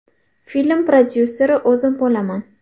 Film prodyuseri o‘zim bo‘laman.